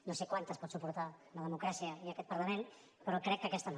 no sé quantes en pot suportar la democràcia i aquest parlament però crec que aquesta no